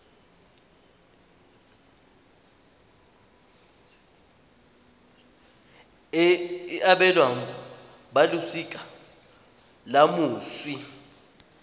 e abelwang balosika la moswi